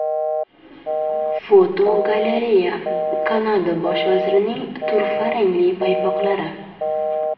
Fotogalereya: Kanada bosh vazirining turfa rangli paypoqlari.